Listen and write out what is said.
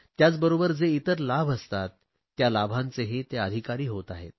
त्याचबरोबर जे इतर लाभ असतात त्या लाभांचेही ते अधिकारी होत आहेत